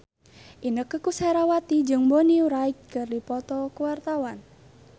Inneke Koesherawati jeung Bonnie Wright keur dipoto ku wartawan